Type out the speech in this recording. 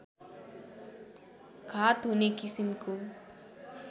घात हुने किसिमको